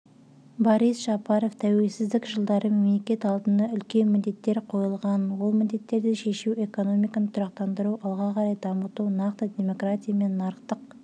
борис жапаров тәуелсіздік жылдары мемлекет алдында үлкен міндеттер қойылғанын ол міндеттерді шешу экономиканы тұрақтандыру алға қарай дамыту нақты демократия мен нарықтық